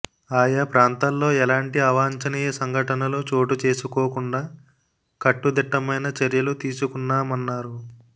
ఆయా ప్రాంతాల్లో ఎలాంటి అవాంఛనీయ సంఘటనలు చోటు చేసుకోకుండా కట్టుదిట్టమైన చర్యలు తీసుకున్నామన్నారు